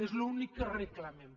és l’únic que reclamem